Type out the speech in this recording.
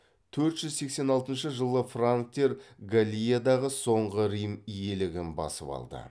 төрт жүз сексен алтыншы жылы франктер галлиядағы соңғы рим иелігін басып алды